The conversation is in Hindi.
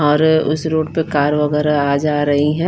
और उस रोड पर कार वगैरह आज आ रही है।